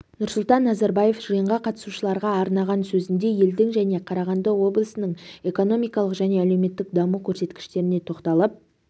нұрсұлтан назарбаев жиынға қатысушыларға арнаған сөзінде елдің және қарағанды облысының экономикалық және әлеуметтік даму көрсеткіштеріне тоқталып